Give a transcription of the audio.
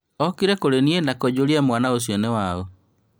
Okire kũrĩniĩ na kũnjũria mwana ũcio nĩwaũ?